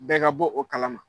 Bɛɛ ka bɔ o kalama